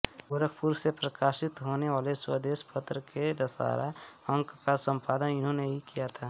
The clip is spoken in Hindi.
गोरखपुर से प्रकाशित होनेवाले स्वदेश पत्र के दशहरा अंक का संपादन इन्होंने ही किया था